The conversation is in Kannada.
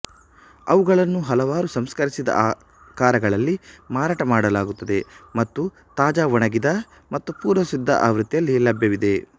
ಅವುಗಳನ್ನು ಹಲವಾರು ಸಂಸ್ಕರಿಸಿದ ಆಕಾರಗಳಲ್ಲಿ ಮಾರಾಟ ಮಾಡಲಾಗುತ್ತದೆ ಮತ್ತು ತಾಜಾ ಒಣಗಿದ ಮತ್ತು ಪೂರ್ವಸಿದ್ಧ ಆವೃತ್ತಿಯಲ್ಲಿ ಲಭ್ಯವಿದೆ